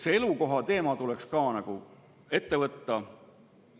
See elukohateema tuleks ka ette võtta.